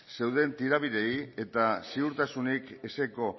zeuden tirabirei eta ziurtasunik ezeko